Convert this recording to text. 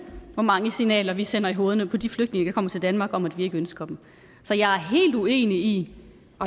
hvor mange signaler vi sender i hovedet på de flygtninge der kommer til danmark om at vi ikke ønsker dem så jeg er helt uenig i